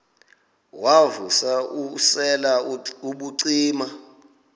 wav usel ubucima